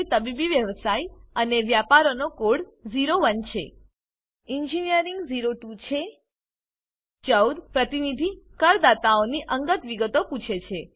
તબીબી વ્યવસાય અને વ્યાપારનો કોડ 01 છે ઈજનેરી 02 છે 14 પ્રતિનિધિ કરદાતાઓની અંગત વિગતો પૂછે છે